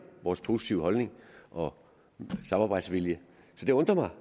vores positive holdning og samarbejdsvilje det undrer mig